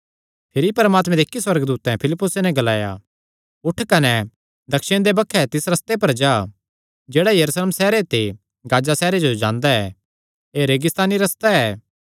भिरी परमात्मे दे इक्की सुअर्गदूतैं फिलिप्पुसे नैं ग्लाया उठ कने दक्षिण दे बक्खे तिस रस्ते पर जा जेह्ड़ा यरूशलेम सैहरे ते गाजा सैहरे जो जांदा ऐ एह़ रेगिस्तानी रस्ता ऐ